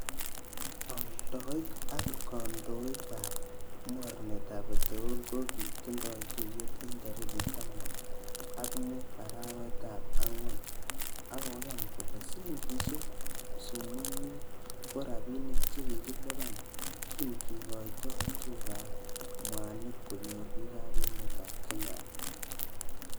Oldoik ak kondoik ab mornetab peterol ko kitindoi tuyet en tarigit taman ak mut arawetab angwan, ak koyan kole silingisiek 0.50, ko rabinik che kikilipan kin kigoito tuguk ab mwanik konyor bik ab emetab Kenya.